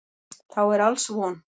Þá er alls von.